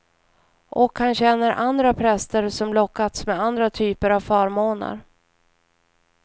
Och han känner andra präster som lockats med andra typer av förmåner.